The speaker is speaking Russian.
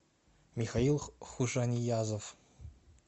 михаил хушаниязов